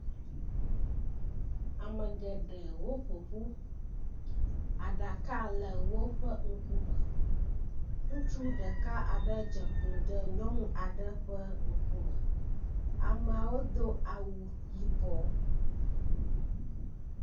Ame geɖewo ƒoƒu aɖaka le woƒe ŋkume. Ŋutsu ɖeka aɖe dze klo ɖe nyɔnu aɖe ƒe ŋkume. Ameawo do awu yibɔ.